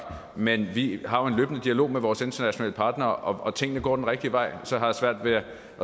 men vi har jo en løbende dialog med vores internationale partnere og tingene går den rigtige vej så jeg har svært ved at